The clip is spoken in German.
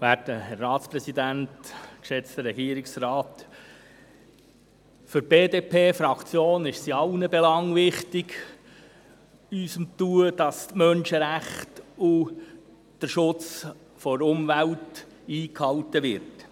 Für die Fraktion der BDP ist es in allen Belangen wichtig, dass die Menschenrechte und der Schutz der Umwelt eingehalten werden.